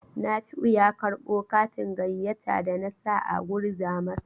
Nafi'u ya karɓo katin gayyata da na sa a gurza masa.